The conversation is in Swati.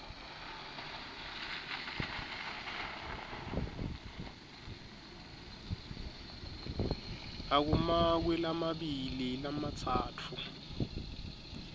akumakwe lamabili lamatsatfu